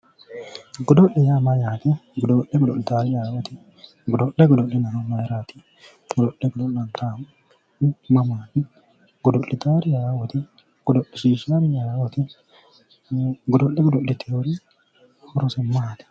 Godo'le yaa mayyaate godo'le godo'litaari aye"ooti godo'le godo'linayhu mayraati godo'le godo'linannihu mamaati godo'litaari aye"ooti godo'lishiishshaari aye"ooti godo'le godo'inayti horose maati